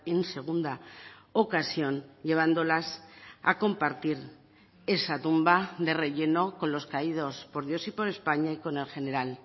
en segunda ocasión llevándolas a compartir esa tumba de relleno con los caídos por dios y por españa y con el general